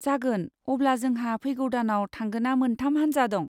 जागोन। अब्ला जोंहा फैगौ दानआव थांगोना मोनथाम हानजा दं।